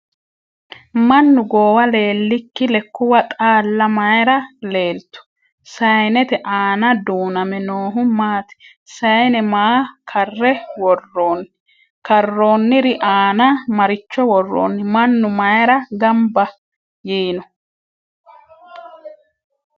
Mannu goowa leelikki lekkuwa xaalla mayiira leelittu? Sayiinnette aanna duuname noohu maatti? Sayiinne maa karre woroonni? Karoonniri aanna maricho woroonni? Mannu mayiira ganbba yiinno?